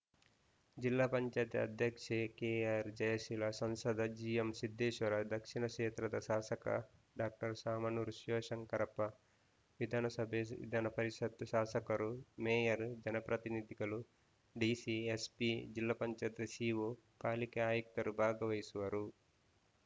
ಜಿಲ್ಲಾ ಪಂಚಾಯತ್ ಅಧ್ಯಕ್ಷೆ ಕೆಆರ್‌ ಜಯಶೀಲ ಸಂಸದ ಜಿಎಂ ಸಿದ್ದೇಶ್ವರ ದಕ್ಷಿಣ ಕ್ಷೇತ್ರದ ಶಾಸಕ ಡಾಕ್ಟರ್ ಶಾಮನೂರು ಶಿವಶಂಕರಪ್ಪ ವಿಧಾನಸಭೆ ವಿಧಾನಪರಿಷತ್ತು ಶಾಸಕರು ಮೇಯರ್‌ ಜನಪ್ರತಿನಿಧಿಗಳು ಡಿಸಿ ಎಸ್‌ಪಿ ಜಿಪಂ ಸಿಇಒ ಪಾಲಿಕೆ ಆಯುಕ್ತರು ಭಾಗವಹಿಸುವರು